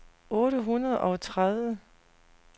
otte hundrede og tredive